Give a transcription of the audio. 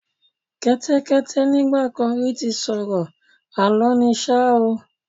Kẹ́tẹ́kẹ́tẹ́ nígbà kan rí ti sọ̀rọ̀, Àlọ́ ni ṣá o.